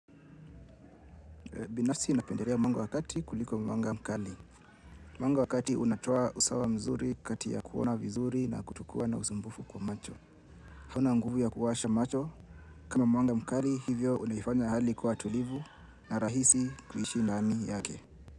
Binafsi napendelea mwanga wa kati kuliko mwanga mkali. Mwanga wa kati unatoa usawa mzuri kati ya kuona vizuri na kutukoa na usumbufu kwa macho. Hauna nguvu ya kuwasha macho kama mwanga mkali hivyo unafanya hali kuwa tulivu na rahisi kuishi ndani yake.